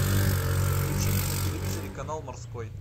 включи мне на телевизоре канал морской